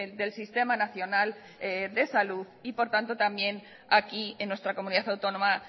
del sistema nacional de salud y por lo tanto también aquí en nuestra comunidad autónoma